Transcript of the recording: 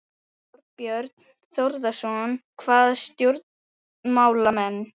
Þorbjörn Þórðarson: Hvaða stjórnmálamenn?